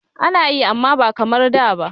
Ana yi amma ba kamar da ba.